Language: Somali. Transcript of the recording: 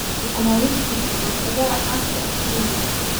Sukuma wiki waa khudaar caan ka ah Kenya.